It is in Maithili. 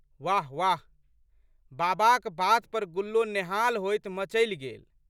वाह वाह! बाबाक बात पर गुल्लो नेहाल होइत मचलि गेल।